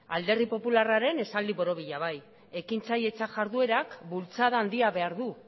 alderdi popularraren esaldi borobila bai ekintzailetza jarduerak bultzada handia behar du